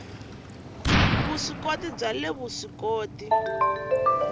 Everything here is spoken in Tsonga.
le vuswikoti bya le vuswikoti